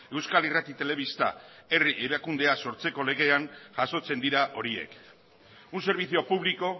euskal irrati telebista herri erakundea sortzeko legean jasotzen dira horiek un servicio público